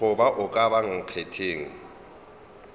goba a ka ba nkgetheng